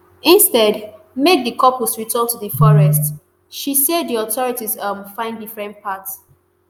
instead make di couples return to di forest she say di authorities um find different path